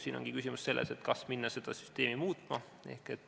Siin ongi küsimus selles, kas minna seda süsteemi muutma.